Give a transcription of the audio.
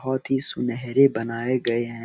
बहुत ही सुनहरे बनाये गए हैं।